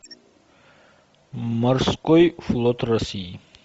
морской флот россии